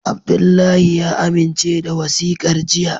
Abdullahi ya amince da wasikar jiya.